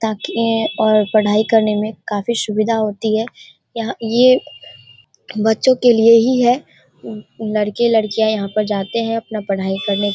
ताकि ये और पढ़ाई करने में काफी सुविधा होती है यहाँ ये बच्चों के लिए ही है लड़के-लड़कियां यहाँ पर जाते हैं अपना पढ़ाई करने।